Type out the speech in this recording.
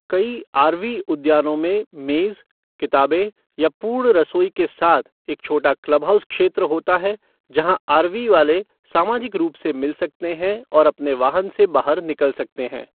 कई आरवी उद्यानों में मेज़, किताबें या पूर्ण रसोई के साथ एक छोटा क्लब हाउस क्षेत्र होता है जहां आरवी वाले सामाजिक रूप से मिल सकते हैं और अपने वाहन से बाहर निकल सकते हैं।